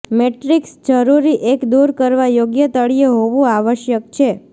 matrix જરૂરી એક દૂર કરવા યોગ્ય તળિયે હોવું આવશ્યક છે